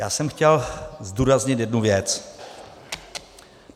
Já jsem chtěl zdůraznit jednu věc.